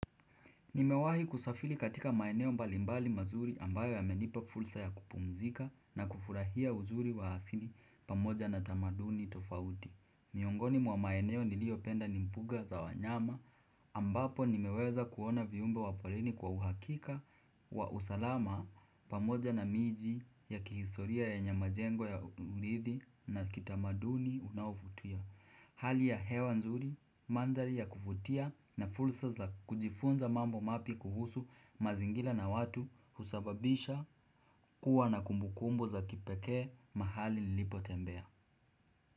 Nimewahi kusafiri katika maeneo mbalimbali mazuri ambayo yamenipa fursa ya kupumzika na kufurahia uzuri wa asini pamoja na tamaduni tofauti. Miongoni mwa maeneo niliyopenda ni mbuga za wanyama ambapo nimeweza kuona viumbe wa parini kwa uhakika wa usalama pamoja na miji ya kihisoria yenye majengo ya urithi na kitamaduni unaovuti. Hali ya hewa nzuri, mandhari ya kuvutia na fursa za kujifunza mambo mapya kuhusu mazingira na watu husababisha kuwa na kumbukumb za kipekee mahali nilipo tembea.